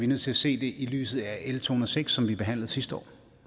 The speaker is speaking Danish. nødt til at se det i lyset af l to hundrede og seks som vi behandlede sidste år